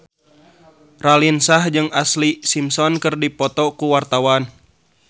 Raline Shah jeung Ashlee Simpson keur dipoto ku wartawan